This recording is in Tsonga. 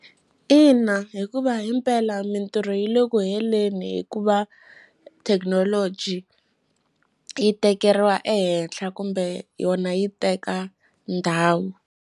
Ina, hikuva himpela mintirho yi le ku heleni hikuva thekinoloji yi tekeriwa ehehla kumbe yona yi teka ndhawu.